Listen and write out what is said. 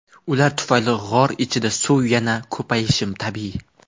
Ular tufayli g‘or ichida suv yanada ko‘payishi tabiiy.